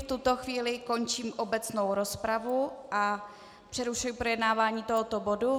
V tuto chvíli končím obecnou rozpravu a přerušuji projednávání tohoto bodu.